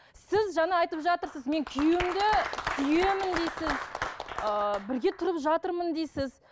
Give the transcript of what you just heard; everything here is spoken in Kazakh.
сіз жаңа айтып жатырсыз мен күйеуімді сүйемін дейсіз ыыы бірге тұрып жатырмын дейсіз